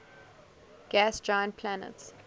gas giant planets